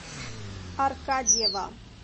аркадьева